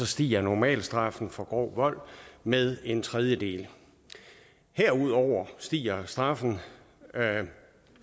stiger normalstraffen for grov vold med en tredjedel herudover stiger straffen